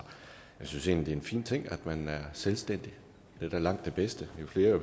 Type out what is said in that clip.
jeg synes egentlig er en fin ting at man er selvstændig det er da langt det bedste jo flere